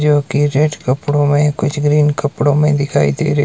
जो की रेड कपड़ों में कुछ ग्रीन कपड़ों में दिखाई दे रही--